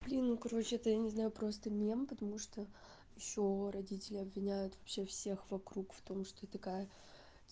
блин ну короче это я не знаю просто не ем потому что ещё родители обвиняют вообще всех вокруг в том что я такая